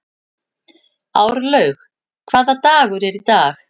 Árlaug, hvaða dagur er í dag?